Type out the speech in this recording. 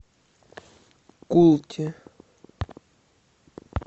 култи